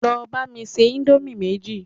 Lọ bá mi se indomie méjì